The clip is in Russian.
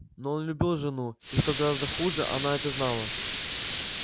но он любил жену и что гораздо хуже она это знала